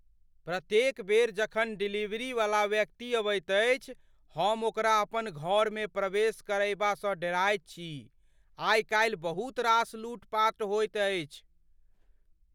प्रत्येक बेर जखन डिलीवरी वाला व्यक्ति अबैत अछि, हम ओकरा अपन घरमे प्रवेश करयबासँ डेराइत छी। आइकाल बहुत रास लूट पाट होइत छै।